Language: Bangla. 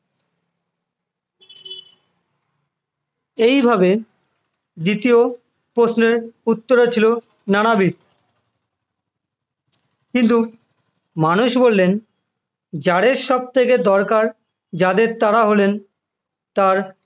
এইভাবে দ্বিতীয় প্রশ্নের উত্তরে ছিল নানাবিধ কিন্তু মানুষ বললেন যাদের সবথেকে দরকার যাদের তারা হলেন তার